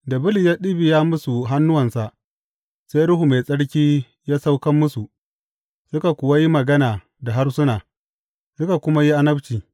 Da Bulus ya ɗibiya musu hannuwansa, sai Ruhu Mai Tsarki ya sauka musu, suka kuwa yi magana da harsuna, suka kuma yi annabci.